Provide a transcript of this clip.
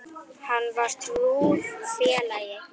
Hann var trúr félagi.